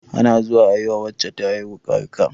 Ana zuwa ayi wa wacce ta haihu barka